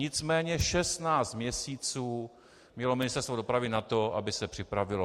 Nicméně 16 měsíců mělo Ministerstvo dopravy na to, aby se připravilo.